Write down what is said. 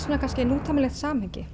nútímalegt samhengi